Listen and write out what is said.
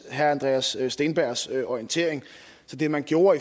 herre andreas steenbergs orientering det man gjorde